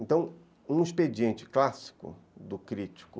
Então, um expediente clássico do crítico